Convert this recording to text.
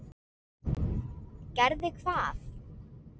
Gerði hvað?